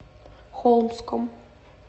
холмском